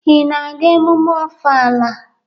Ị na-aga emume Ọfala?